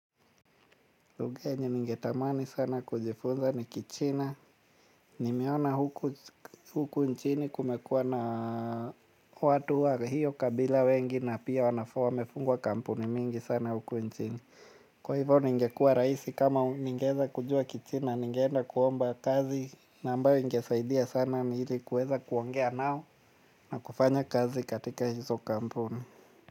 Lugha yenye ningetamani sana kujifunza ni kichina. Nimeona huku nchini kumekuwa na watu wa hiyo kabila wengi na pia wamefungua kampuni mingi sana huku nchini. Kwa hivyo ningekuwa rahisi kama ningeweza kujua kichina ningeenda kuomba kazi na ambayo ingesaidia sana ni hili kuweza kuongea nao na kufanya kazi katika hizo kampuni.